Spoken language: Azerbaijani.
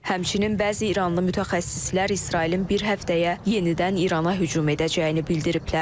Həmçinin bəzi iranlı mütəxəssislər İsrailin bir həftəyə yenidən İrana hücum edəcəyini bildiriblər.